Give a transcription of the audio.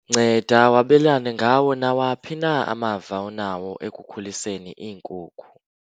Nceda wabelane ngawo nawaphi na amava onawo ekukhuliseni iinkukhu.